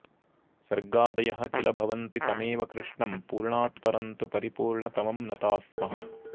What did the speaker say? सर्गादयः किल भवन्ति तमेव कृष्णं पूर्णात्परं तु परिपूर्णतमं नताः स्मः